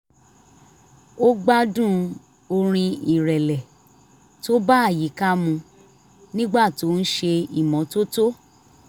ó gbádùn orin ìrẹ̀lẹ̀ tó bá àyíká mu nígbà tó ń ṣe ìmọ́tótó